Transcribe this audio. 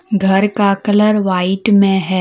घर का colour white में है।